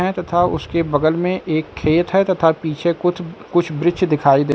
है तथा उसके बगल में एक खेत है तथा पीछे कुछ कुछ वृक्ष दिखाई दे --